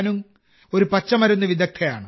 യാനുങ് ഒരു പച്ചമരുന്ന് വിദഗ്ധയാണ്